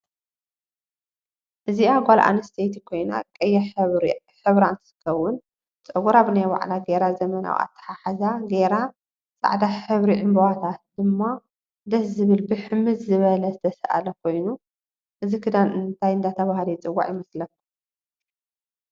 እዚኣ ጋል ኣንምስተይቲ ኮይና ቀያ ሕብሪ እንትትከውን ፀግራ ብናይ በዕላ ገይራ ዘመናዊ ኣተሓሕዛ ግይረ ፃዕዳ ሕብሪ ዕንበባታት ድማ ደስ ዝብል ብሕምድ ዘበለ ዝተሳኣለ ኮይኑ እዚክዳን እንታይ እደተበሃለ ይፅዋዕ ይመስለኩም?